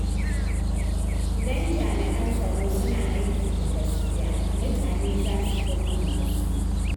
Idan jami’an tsaro suna aiki da gaskiya, mutane za su girmama su.